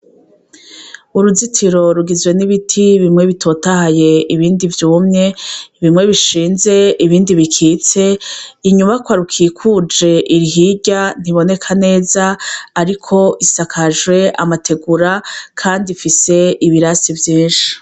Uruzitiro rugizwe n'ibiti bimwe bitotahaye ibindi vyumye, bimwe binshinze, ibindi bikotse ,inyubakwa rukikuje, iri hirya ntiboneka nzeza, ariko isakajwe amategera kandi ifise ibirasi vyinshi.